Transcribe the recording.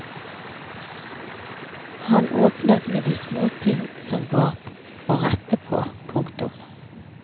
Han åpnet med de småting som var å rette på. punktum